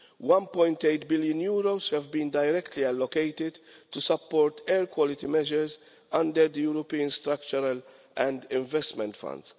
1.8 billion have been directly allocated to support air quality measures under the European Structural and Investment Fund.